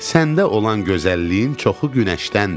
Səndə olan gözəlliyin çoxu günəşdəndir.